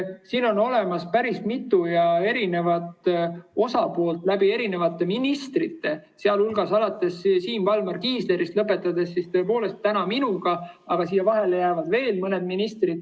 Siin on päris mitu osapoolt, ka eri ministrid, alates Siim Valmar Kiislerist ja lõpetades minuga, aga sinna vahepeale jääb veel mõni minister.